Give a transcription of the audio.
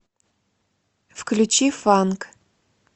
включи фанк